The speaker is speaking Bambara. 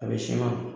A bɛ siman